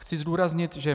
Chci zdůraznit, že